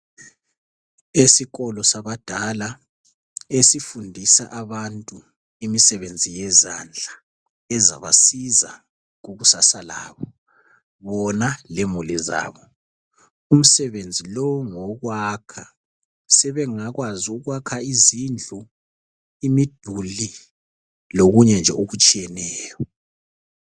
Esikolo sabadala esifundisa abantu imisebenzi yezandla ezabasiza kukusasa labo, bona lemuli zabo. Umsebenzi lowu ngowokwakha. Sebengakwazi ukwakha izindlu, imiduli, lukunye nje okutshiyeneyo.